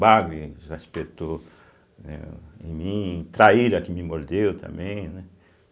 Bagre já espetou eh em mim, Traíra que me mordeu também, né?